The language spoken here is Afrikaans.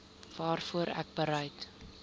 waarvoor ek bereid